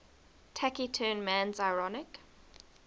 taciturn man's ironic